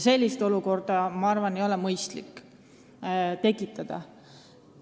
Sellist olukorda tekitada ei ole aga minu arvates mõistlik.